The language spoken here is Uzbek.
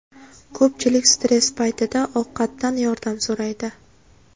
Ko‘pchilik stress paytida ovqatdan yordam so‘raydi.